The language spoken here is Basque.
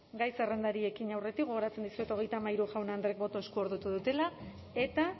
gai zerrendari ekin aurretik gogoratzen dizuet hogeita hamairu jaun andreek botoa eskuordetu dutela eta